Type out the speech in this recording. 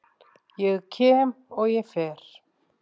Ég kem, og ég fer.